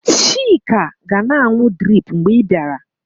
Chika ga-na anụ drip mgbe ị bịara.